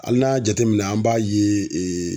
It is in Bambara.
Ali n'a y'a jateminɛ an b'a ye ee